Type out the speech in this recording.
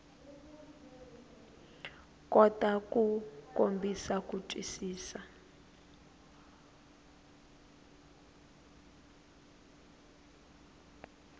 kota ku kombisa ku twisisa